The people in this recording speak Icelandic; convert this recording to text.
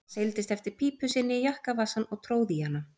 Hann seildist eftir pípu sinni í jakkavasann og tróð í hana.